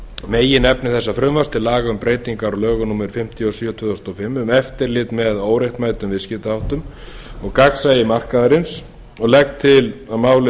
meginefni þessa frumvarps til laga um breytingar á lögum númer fimmtíu og sjö tvö þúsund og fimm um eftirlit með óréttmætum viðskiptaháttum og gagnsæi markaðarins og legg til að máli